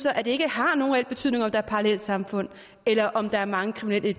at det ikke har nogen reel betydning om der er parallelsamfund eller om der er mange kriminelle i